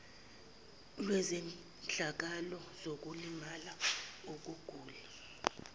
lwezehlakalo zokulimala ukugula